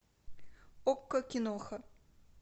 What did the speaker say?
окко киноха